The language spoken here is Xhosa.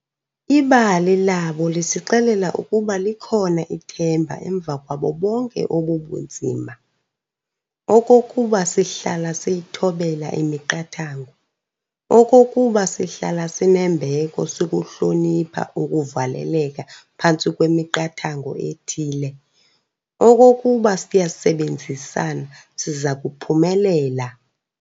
Ibali labo lisixelela ukuba likhona ithemba emva kwabo bonke obu bunzima, okokuba sihlala siyithobela imiqathango, okokuba sihlala sinembeko sikuhlonipha ukuvaleleka phantsi kwemiqathango ethile, okokuba siyasebenzisana, siza kuphumelela.